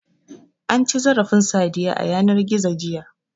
An ci zarafin Sadiya a yanar gizo, jiya.